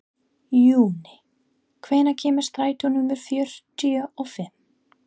Júní, hvenær kemur strætó númer fjörutíu og fimm?